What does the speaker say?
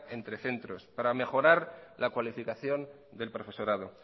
entre centros para mejorar la cualificación del profesorado